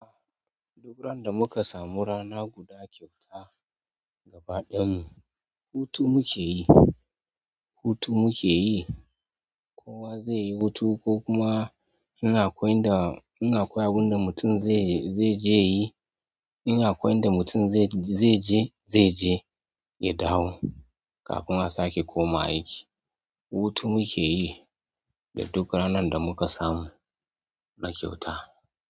Duk ran da muka samu rana guda kyauta gaba ɗayan mu, hutu muke yi, hutu muke yi. Kowa zai yi hutu ko kuma in akwai inda in akwai abun da mutum zai, zai je yi. In akwai inda mutum zai je, zai je ya dawo kafin a sake koma aiki. Hutu muke yi da duk ranan da muka samu na kyauta.